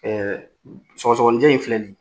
Ɛɛ sɔgɔsɔgɔninjɛm in filɛ nin ye